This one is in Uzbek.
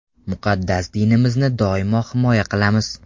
Muqaddas dinimizni doimo himoya qilamiz.